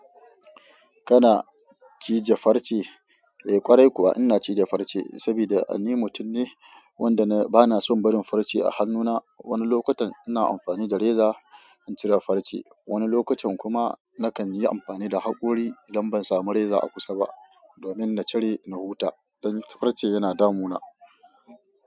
Kana cije farce? Eh ƙwarai kuwa ina cije farce saboda ni mutum ne wanda ba na son barin farce a hannuna. Wani lokutan ina amfani da reza in cire farce, wani lokutan kuma nakan yi amfani da haƙori idan ban samu reza a kusa ba, domin na cire na huta. Dan farce yana damuna.